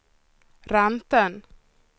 räntan